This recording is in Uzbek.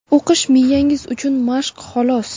O‘qish miyangiz uchun mashq xolos.